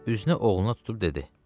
Üzünü oğluna tutub dedi: